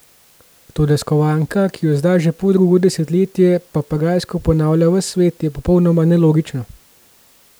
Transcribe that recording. Toda skovanka, ki jo zdaj že poldrugo desetletje papagajsko ponavlja ves svet, je popolnoma nelogična.